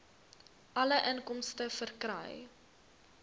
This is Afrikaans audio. alle inkomste verkry